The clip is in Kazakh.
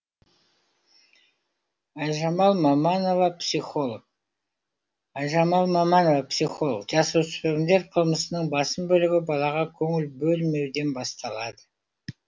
айжамал маманова психолог айжамал маманова психолог жасөспірімдер қылмысының басым бөлігі балаға көңіл бөлмеуден басталады